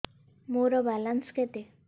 ମୋର ବାଲାନ୍ସ କେତେ